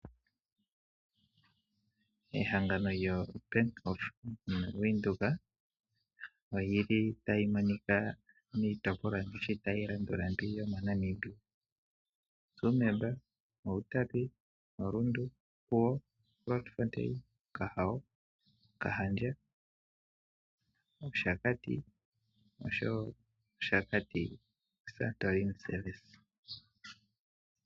Ehangano lyoBank Windhoek ota li monika miitopolwa tayi landula yomoNamibia: Tsumeb, Outapi, Rundu, Opuwo, Grootfontein, Okahawo, Okahandja, Oshakati noshowo Oshakati Santorini Service.